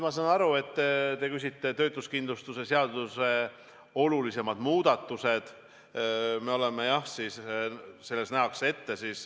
Ma sain aru, et te küsite töötuskindlustuse seaduse olulisemate muudatuste kohta.